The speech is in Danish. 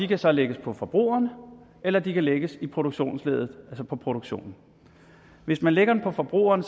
kan så lægges på forbrugerne eller de kan lægges i produktionsleddet altså på produktionen hvis man lægger dem på forbrugerne